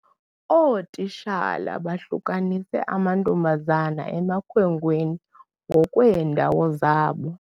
Ootitshala bahlukanise amantombazana emakhwenkweni ngokweendawo zabo.